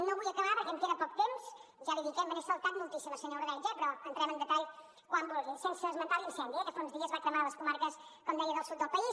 no vull acabar perquè em queda poc temps ja l’hi dic eh me n’he saltat moltíssimes senyor ordeig però entrem en detall quan vulgui sense esmentar l’incendi que fa uns dies va cremar les comarques com deia del sud del país